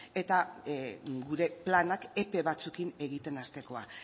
eta gure planak epe batzuekin egiten hastekoa